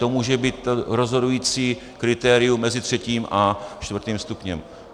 To může být rozhodující kritériem mezi třetím a čtvrtým stupněm.